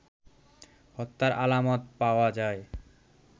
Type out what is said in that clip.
হত্যার আলামত পাওয়া যায়